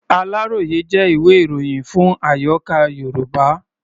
Aláròyé jẹ́ ìwé-ìròyìn fún àyọká̀ Yorùbá.